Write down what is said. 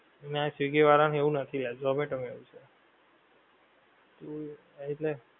જે ના કરાએ એ લોકો પછી એમની માથેજ ભોગવું પડે એલા